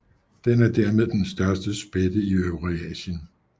Den er dermed den største spætte i Eurasien